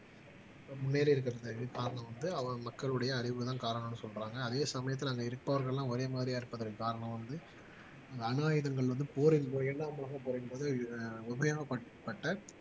முன்னேறி இருக்கிறது காரணம் வந்து மக்களுடைய அறிவுதான் காரணம்ன்னு சொல்றாங்க அதே சமயத்துல அங்க இருப்பவர்கள் எல்லாம் ஒரே மாதிரியாக இருப்பதற்கு காரணம் வந்து இந்த அணு ஆயுதங்கள் வந்து போரில் இயங்காமல் போரின் போது உண்மையாக பார்க்கப்பட்ட